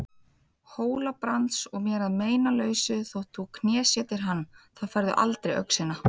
Hóla-Brands og mér að meinalausu þótt þú knésetjir hann, þá færðu aldrei öxina.